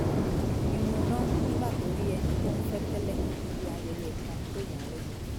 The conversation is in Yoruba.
irun dán nígbà tó rí ẹni tí ó ń fẹ́ tẹ́lẹ̀ níbi ayẹyẹ kan tó yà á lẹ́nu